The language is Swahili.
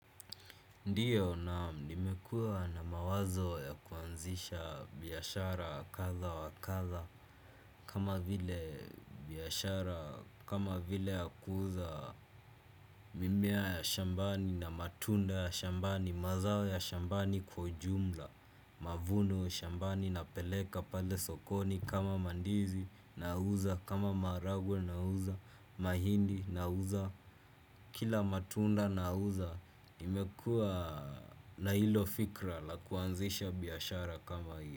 Ndiyo naam nimekua na mawazo ya kuanzisha biashara kadha wa kadha kama vile biashara kama vile ya kuuza mimea ya shambani na matunda ya shambani mazao ya shambani kwa ujumla mavuno ya shambani napeleka pale sokoni kama mandizi nauza kama maharagwe nauza mahindi nauza. Kila matunda nauza nimekua na hilo fikra la kuanzisha biashara kama hiyo.